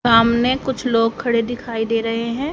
सामने कुछ लोग खड़े दिखाई दे रहे हैं।